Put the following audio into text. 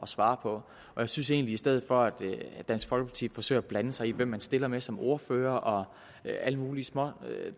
svare på jeg synes egentlig stedet for at dansk folkeparti forsøger at blande sig i hvem partierne stiller med som ordfører og alle mulige små